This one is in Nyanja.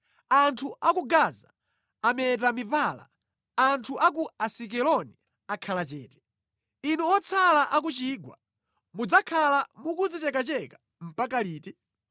Anthu a ku Gaza ameta mipala; anthu a ku Asikeloni akhala chete. Inu otsala a ku chigwa, mudzakhala mukudzichekacheka mpaka liti?